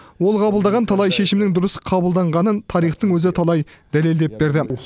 ол қабылдаған талай шешімнің дұрыс қабылданғанын тарихтың өзі талай дәлелдеп берді